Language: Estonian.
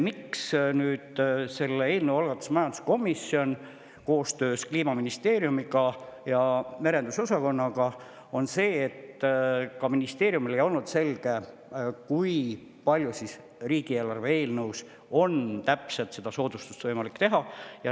Põhjus, miks selle eelnõu algatas nüüd majanduskomisjon koostöös Kliimaministeeriumi merendusosakonnaga, on see, et ka ministeeriumile ei olnud selge, kui palju riigieelarve eelnõus on võimalik seda soodustust teha.